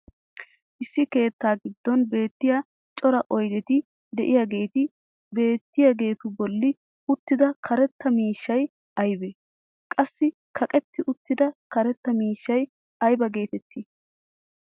issi keettaa giddon beettiya cora oydetti diyaageeti beettiyaageetu boli uttida karetta miishshay aybee? qassi kaqetti uttida karetta miishshay aybba getettii?